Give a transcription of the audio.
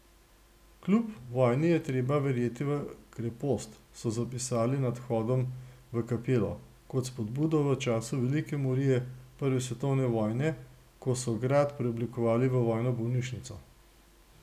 Kljub vojni je treba verjeti v krepost, so zapisali nad vhodom v kapelo, kot spodbudo v času velike morije prve svetovne vojne, ko so grad preoblikovali v vojno bolnišnico.